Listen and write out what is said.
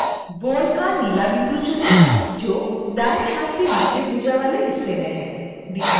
bone का नीला बिंदु चुनें जो दाएं हाथ के निचली भुजा वाले हिस्से में है